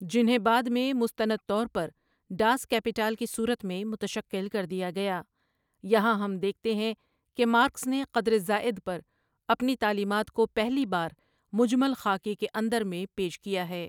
جنہیں بعد میں مستند طور پر ڈاس کیپیٹال کی صورت میں متشکل کر دیا گیا یہاں ہم دیکھتے ہیں کہ مارکس نے قدر زائد پر اپنی تعلیمات کو پہلی بار مجمل خاکے کے اندر میں پیش کیا ہے ۔